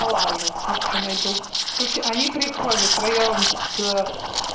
полажу может что найду короче они приходят втроём с